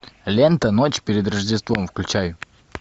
лента ночь перед рождеством включай